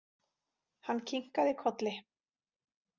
Hann kinkaði kolli.